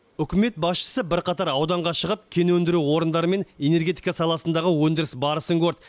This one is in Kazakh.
үкімет басшысы бірқатар ауданға шығып кен өндіру орындары мен энергетика саласындағы өндіріс барысын көрді